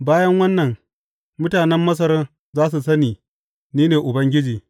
Bayan wannan, mutanen Masar za su sani ni ne Ubangiji.